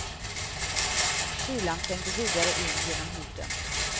Kylan trängde vidare in genom huden.